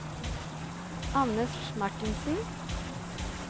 Anders Marthinsen